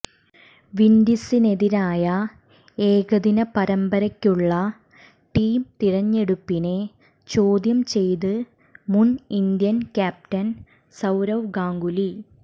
വിൻഡീസിനെതിരായ ഏകദിന പരമ്പരയ്ക്കുള്ള ടീം തിരഞ്ഞെടുപ്പിനെ ചോദ്യം ചെയ്ത് മുൻ ഇന്ത്യൻ ക്യാപ്റ്റൻ സൌരവ് ഗാംഗുലി